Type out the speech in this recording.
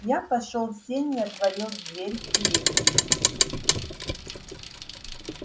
я пошёл в сени и отворил дверь в переднюю